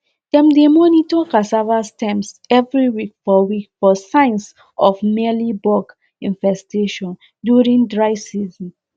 dem dey monitor cassava stems every week for week for signs of mealybug infestations during dry season